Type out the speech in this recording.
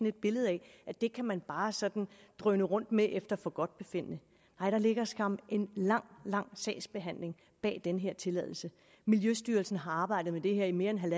et billede af at det kan man bare sådan drøne rundt med efter forgodtbefindende nej der ligger skam en lang lang sagsbehandling bag den her tilladelse miljøstyrelsen har arbejdet med det her i mere end en en